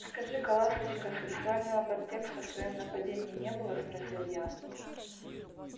скажи-ка ласточка сексуального подтекста в твоём нападении не было спросил я